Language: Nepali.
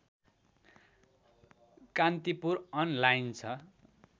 कान्तिपुर अनलाइन छ